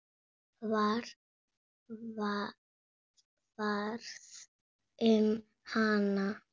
Hvað varð um hana?